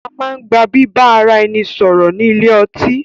A máa ń gba bíbá ara ẹni sọ̀rọ̀ ni ilé ọtí.